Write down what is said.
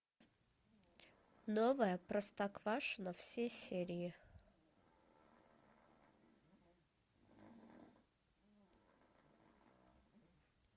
новое простоквашино все серии